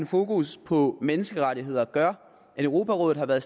fokus på menneskerettigheder gør at europarådet har været